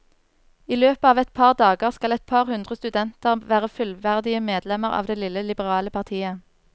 I løpet av et par dager skal et par hundre studenter være fullverdige medlemmer av det lille, liberale partiet.